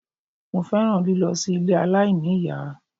Mo fẹ́ràn lílọ sí ilé aláìníìyá